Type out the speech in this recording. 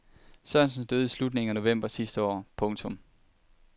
Sørensen døde i slutningen af november sidste år. punktum